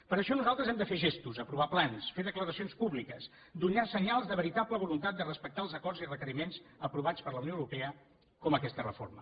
per això nosaltres hem de fer gestos aprovar plans fer declaracions públiques donar senyals de veritable voluntat de respectar els acords i requeriments aprovats per la unió europea com aquesta reforma